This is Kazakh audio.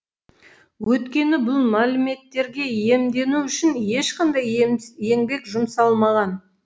өйткені бұл мәліметтерге иемдену үшін ешқандай еңбек жұмсалмаған